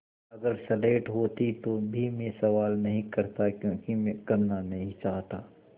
अगर स्लेट होती तो भी मैं सवाल नहीं करता क्योंकि मैं करना नहीं चाहता